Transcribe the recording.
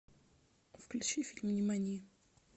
включи фильм нимани